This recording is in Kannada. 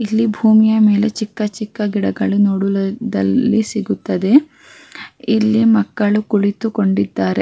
ಇಲ್ಲಿ ಭೂಮಿಯ ಮೇಲೆ ಚಿಕ್ಕ ಚಿಕ್ಕ ಗಿಡಗಳು ನೋಡವುದದಲ್ಲಿ ಸಿಗುತ್ತದೆ ಇಲ್ಲಿ ಮಕ್ಕಳು ಕುಳಿತುಕೊಂಡಿದ್ದಾರೆ.